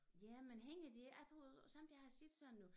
Jamen hænger de jeg troede sommetider har jeg set sådan noget